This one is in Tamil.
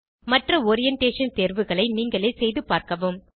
மற்ற ஓரியன்டேஷன் தேர்வுகளை நீங்களே செய்துபார்க்கவும்